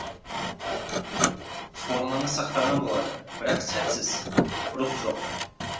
форманы сақтаған болады бірақ сәтсіз рух жоқ